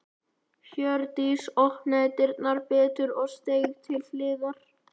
Hjördís opnaði dyrnar betur og steig til hliðar.